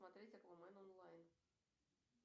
смотреть аквамен онлайн